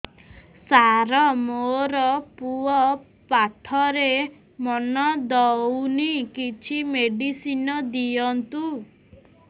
ସାର ମୋର ପୁଅ ପାଠରେ ମନ ଦଉନି କିଛି ମେଡିସିନ ଦିଅନ୍ତୁ